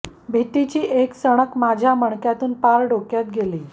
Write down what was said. भितीची एक सणक माझ्या मणक्यातुन पार डोक्यात गेली